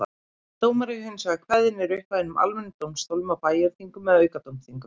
Dómar eru hins vegar kveðnir upp af hinum almennu dómstólum á bæjarþingum eða aukadómþingum.